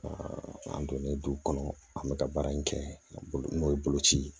an donnen du kɔnɔ an bɛ ka baara in kɛ n'o ye boloci ye